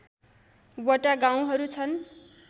वटा गाउँहरू छन्